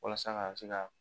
Walasa ka se ka